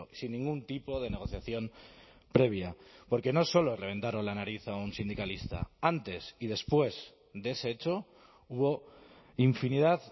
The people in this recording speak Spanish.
sin ningún tipo de negociación previa porque no solo reventaron la nariz a un sindicalista antes y después de ese hecho hubo infinidad